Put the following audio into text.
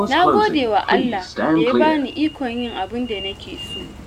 Na gode wa Allah da ya bani ikon yin abin da nake so.